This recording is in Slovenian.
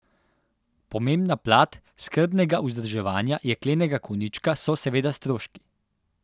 Pomembna plat skrbnega vzdrževanja jeklenega konjička so seveda stroški.